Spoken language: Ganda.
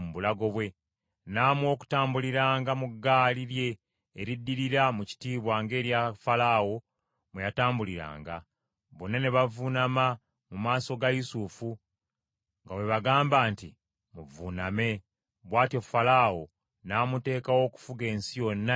N’amuwa n’okutambuliranga mu ggaali lye eriddirira mu kitiibwa ng’erya Falaawo mwe yatambuliranga. Bonna ne bavuunama mu maaso ga Yusufu nga bwe bagamba nti, “Muvuuname.” Bw’atyo Falaawo n’amuteekawo okufuga ensi yonna ey’e Misiri.